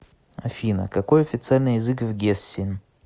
афина какой официальный язык в гессен